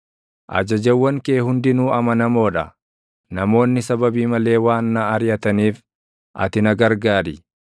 Ajajawwan kee hundinuu amanamoo dha; namoonni sababii malee waan na ariʼataniif ati na gargaari.